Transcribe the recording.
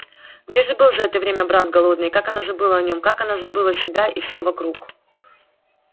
где же был за это время брат голодный и как она забыла о нём как она сама забыла себя и все вокруг